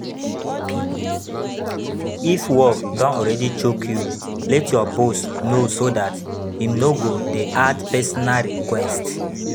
If work don already choke you, let your boss know so dat im no go dey add personal requests